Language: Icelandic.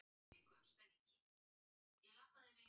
Þetta er alveg óvíst.